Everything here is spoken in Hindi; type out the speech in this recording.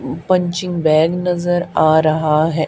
पंचिंग बैग नजर आ रहा है।